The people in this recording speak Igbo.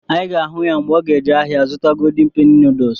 Anyị ga-ahụ ya mgbe ọ ga eje ahịa zụta ‘Golden penny noodles’